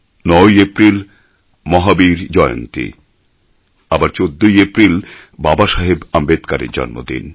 ৯ April Mahavir Jayanti আবার ১৪ April Babasaheb আম্বেদকরের জন্মজয়ন্তী